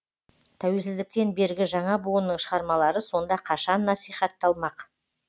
тәуелсіздіктен бергі жаңа буынның шығармалары сонда қашан насихатталмақ